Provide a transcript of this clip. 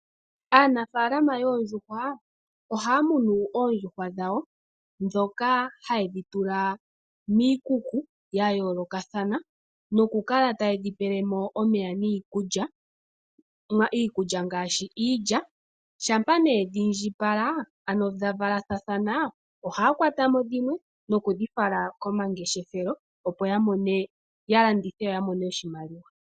Aanafaalama yoondjuhwa, ohaa muna oondjuhwa dhawo, dhoka haye dhi tula miikuku ya yoolokathana, no ku kala taye dhi pele mo omeya niikulya. Iikulya ngaashi iilya, shampa nee dhiindji pala ,ano dha vala thathana ,ohaya kwata mo dhimwe noku dhi fala komangeshefelo opo ya landithe ya mone oshimaliwa.